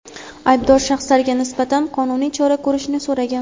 aybdor shaxslarga nisbatan qonuniy chora ko‘rishni so‘ragan.